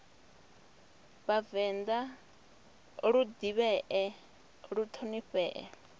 vhavenḓa lu ḓivhee lu ṱhonifhee